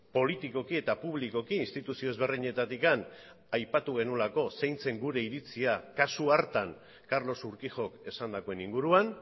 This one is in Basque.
politikoki eta publikoki instituzio ezberdinetatik aipatu genuelako zein zen gure iritzia kasu hartan carlos urquijok esandakoen inguruan